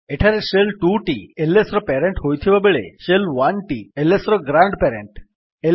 ଏଠାରେ ଶେଲ୍ 2ଟି ଏଲଏସ୍ ର ପ୍ୟାରେଣ୍ଟ୍ ହୋଇଥିବାବେଳେ ଶେଲ୍ 1ଟି ଏଲଏସ୍ ର ଗ୍ରାଣ୍ଡ୍ ପ୍ୟାରେଣ୍ଟ୍